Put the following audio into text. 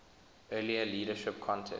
earlier leadership contest